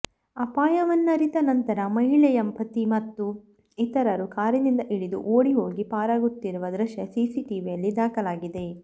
ಅಪಾಯವನ್ನರಿತ ನಂತರ ಮಹಿಳೆಯ ಪತಿ ಮತ್ತು ಇತರರು ಕಾರಿನಿಂದ ಇಳಿದು ಓಡಿ ಹೋಗಿ ಪಾರಾಗುತ್ತಿರುವ ದೃಶ್ಯ ಸಿಸಿಟಿವಿಯಲ್ಲಿ ದಾಖಲಾಗಿದೆ